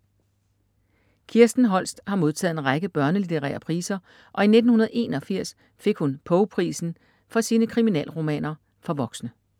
Kirsten Holst har modtaget en række børnelitterære priser og i 1981 fik hun Poe-prisen for sine kriminalromaner for voksne.